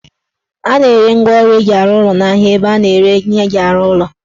A na-ere ngwaọrụ eji arụ ụlọ n'ahia ebe a na-ere ihe eji arụ ụlọ